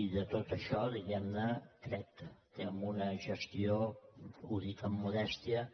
i tot això diguem ne crec que amb una gestió ho dic amb modèstia